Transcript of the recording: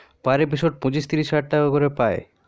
per episode পঁচিশ ত্রিশ হাজার টাকা করে পায়